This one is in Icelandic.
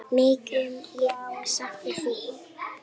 Mikið mun ég sakna þín.